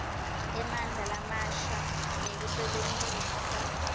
emandla lamasha nekusebentisa